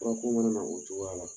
Fura ko mana na o cogoya la